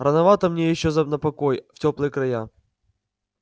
рановато мне ещё на покой в тёплые края